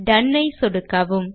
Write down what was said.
tone ஐ சொடுக்கவும்